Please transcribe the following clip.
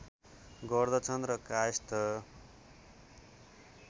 गर्दछन् र कायस्थ